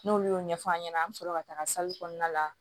N'olu y'o ɲɛfɔ a ɲɛna an bɛ sɔrɔ ka taga kɔnɔna la